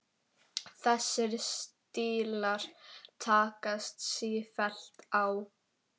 Þessir stílar takast sífellt á.